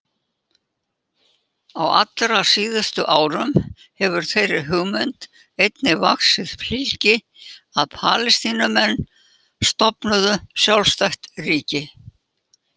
Á allra síðustu árum hefur þeirri hugmynd einnig vaxið fylgi að Palestínumenn stofnuðu sjálfstætt ríki.